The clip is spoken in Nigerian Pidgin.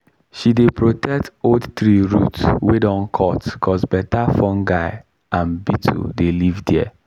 she dey protect old tree root wey don cut cos better fungi and beetle dey live there.